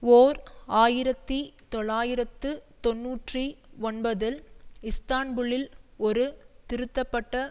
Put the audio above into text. ஓர் ஆயிரத்தி தொள்ளாயிரத்து தொன்னூற்றி ஒன்பதில் இஸ்தான்புலில் ஒரு திருத்தப்பட்ட